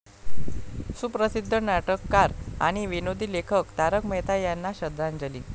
सुप्रसिद्ध नाटककार आणि विनोदी लेखक तारक मेहता यांना श्रद्धांजली.